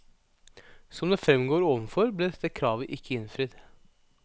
Som det fremgår overfor, ble dette kravet ikke innfridd.